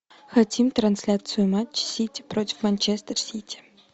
хотим трансляцию матча сити против манчестер сити